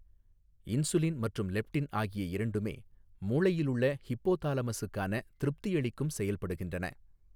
Insulin மற்றும் leptin ஆகிய இரண்டுமே மூளையிலுள்ள ஹிப்போதாலமஸூக்கான திருப்தியளிக்கும் செயல்படுகின்றன.